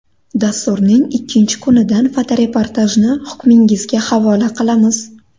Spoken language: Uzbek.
Dasturning ikkinchi kunidan fotoreportajni hukmingizga havola qilamiz.